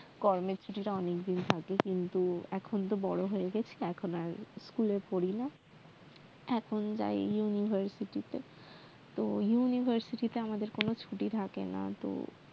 গরমের ছুটি টা অনেকদিন থাকে কিন্তু এখন তো বড় হয়ে গেছি এখন আর school এ পড়িনা এখন যাই university তে তো university তে আমাদের কোনো ছুটি থাকেনা